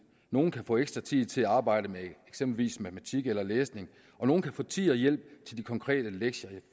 nogle kan få ekstra tid til at arbejde med eksempelvis matematik eller læsning og nogle kan få tid og hjælp til de konkrete lektier i